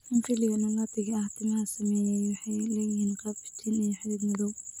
In piliga annulatiga ah, timaha saameeyaa waxay leeyihiin qaab iftiin iyo xidhid madow.